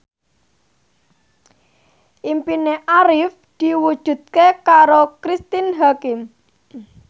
impine Arif diwujudke karo Cristine Hakim